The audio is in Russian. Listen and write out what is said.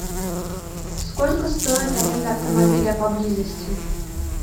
сколько стоит аренда автомобиля поблизости